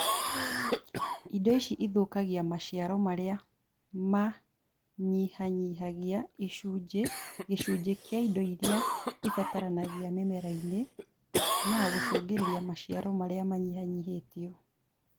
Indo ici ithũkangia maciaro marĩa manyihanyihagia gĩcunjĩ kĩa indo iria ibataranagia mĩmera-inĩ na gũcũngĩrĩria maciaro marĩa manyihanyihĩtio